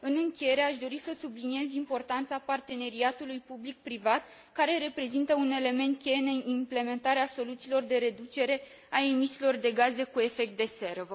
În încheiere, aș dori să subliniez importanța parteneriatului public privat, care reprezintă un element cheie în implementarea soluțiilor de reducere a emisiilor de gaze cu efect de seră.